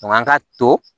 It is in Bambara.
Nka an ka to